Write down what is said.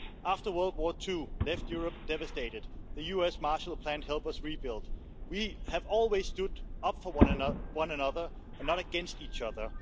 After World War II left Europe devastated, the US' Marshall Plan helped us rebuild. We have always stood up for one another and not against each other.